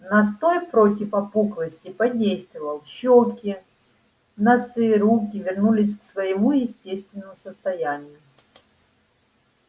настой против опухлости подействовал щёки носы руки вернулись к своему естественному состоянию